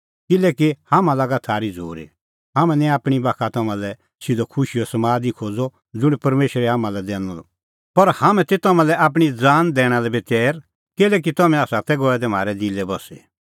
किल्हैकि हाम्हां लागा थारी झ़ूरी हाम्हैं निं आपणीं बाखा तम्हां लै सिधअ खुशीओ समाद ई खोज़अ ज़ुंण परमेशरै हाम्हां लै दैनअ पर हाम्हैं तै तम्हां लै आपणीं ज़ान दैणा लै बी तैर किल्हैकि तम्हैं तै गऐ दै म्हारै दिलै बस्सी